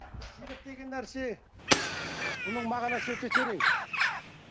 деген нәрсе бұның мағынасы өте терең